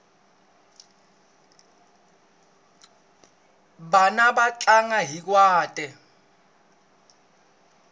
vana va tlanga xizwhate